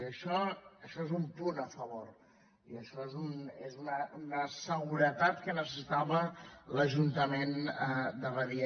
i això és un punt a favor i això és una seguretat que necessitava l’ajuntament de badia